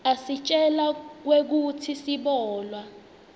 asitjela kwekutsi sibolwa